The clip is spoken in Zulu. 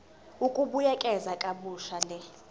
ukubuyekeza kabusha le